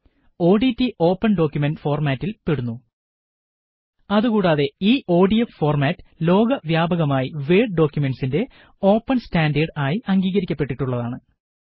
ODT open document ഫോര്മാറ്റില് പെടുന്നു അതു കൂടാതെ ഈ ഒഡിഎഫ് ഫോര്മാറ്റ് ലോകവ്യാപകമായി വേഡ് ഡോക്കുമെന്റ്സിന്റെ ഓപ്പണ് സ്റ്റാന്ഡേര്ഡ് ആയി അംഗീകരിക്കപ്പെട്ടിട്ടുള്ളതുമാണ്